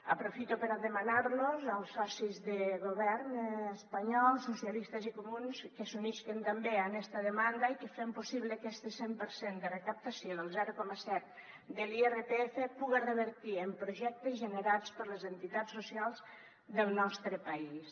aprofito per a demanar als socis del govern espanyol socialistes i comuns que s’unisquen també a esta demanda i que fem possible que este cent per cent de recaptació del zero coma set de l’irpf puga revertir en projectes generats per les entitats socials del nostre país